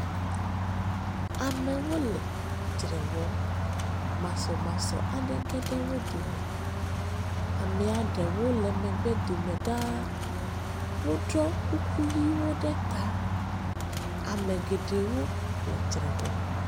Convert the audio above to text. Amewo le dzre wɔm. Masɔmasɔ aɖe geɖe wo dome. Amea ɖewo le megbe dome ɖaa. Woɖɔ kuku ʋi eo ɖeta. Ame geɖewo le dzre wɔm.